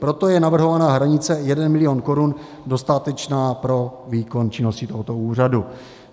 Proto je navrhovaná hranice 1 milion korun dostatečná pro výkon činnosti tohoto úřadu.